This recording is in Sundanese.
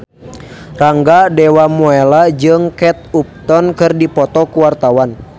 Rangga Dewamoela jeung Kate Upton keur dipoto ku wartawan